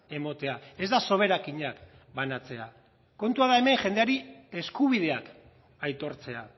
ematea ez da soberakinak banatzea kontua da hemen jendeari eskubideak aitortzea